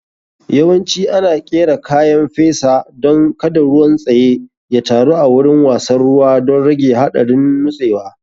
Yawanci ana ƙera kayan fesa don kada ruwan tsaye ya taru a wurin wasan ruwa don rage haɗarin nutsewa.